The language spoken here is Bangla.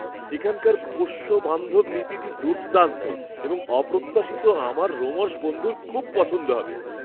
এখানকার পোষ্য বান্ধব নীতিটি দুর্দান্ত এবং অপ্রত্যাশিত, আমার রোমশ বন্ধুর খুব পছন্দ হবে!